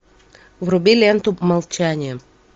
вруби ленту молчание